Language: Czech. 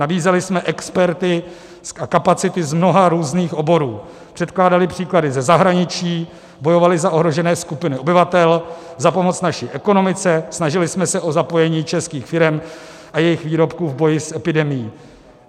Nabízeli jsme experty a kapacity z mnoha různých oborů, předkládali příklady ze zahraničí, bojovali za ohrožené skupiny obyvatel, za pomoc naší ekonomice, snažili jsme se o zapojení českých firem a jejich výrobků v boji s epidemií.